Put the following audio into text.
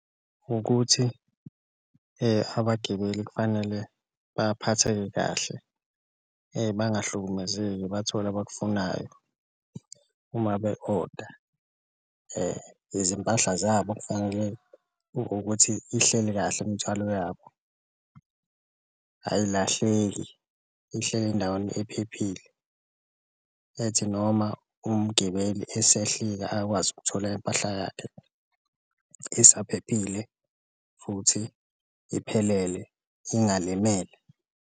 Ukuthi abagibeli kufanele baphatheke kahle bangahlukumezeki bathole abakufunayo uma be-oda izimpahla zabo kufanele ukuthi ihleli kahle imithwalo yabo, ayilahleki ihleli endaweni ephephile ethi noma umgibeli esehlika akwazi ukuthola impahla yakhe isaphelile futhi iphelele, ingalimele.